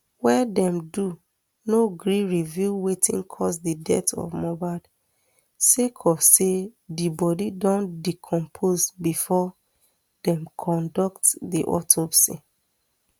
wey dem do no gree reveal wetin cause di death of mohbad sake of say di body don decompose bifor dem conduct di autopsy